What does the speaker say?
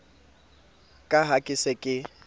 ka ha ke se ke